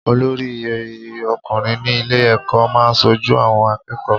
Olórí ọkùnrin ní ilé ẹ̀kọ́ máa ń ṣojú àwọn akẹ́kọ̀ọ́.